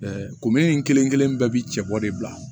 komin kelen kelen bɛɛ bi cɛbɔ de bila